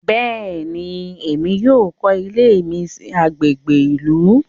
Béèni, Èmí yóò kọ ilé mi sí agbègbè ìlú